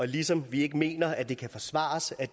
ligesom vi ikke mener at det kan forsvares at